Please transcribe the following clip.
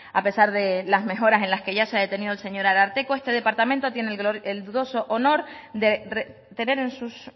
a pesar de las mejoras que en las que ya se ha detenido el señor ararteko este departamento tiene el dudoso honor de tener en sus